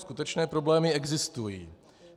Skutečné problémy existují.